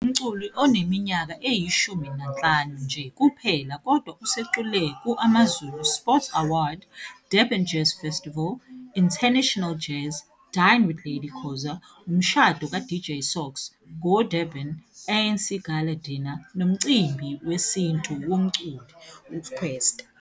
Ungumculi onemnyaka eyishumi nanhlanu nje kuphela kodwa usecule ku- AmaZulu Sports Awards, Durban Jazz Festival, International Jazz, Dine with Lady Khoza, umshado kaDJ Sox, Go Durban, ANC Gala Dinner, nomcimbi wesinto womculi UKwesta.